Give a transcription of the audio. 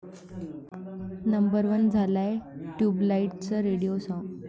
number one झालंय 'ट्युबलाईट'चं radio song